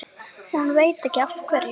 Hún veit ekki af hverju.